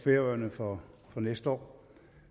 færøerne for næste år